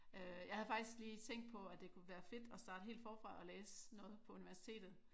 Jeg havde faktisk lige tænkt på at det kunne være fedt at starte helt forfra at læse noget på universitetet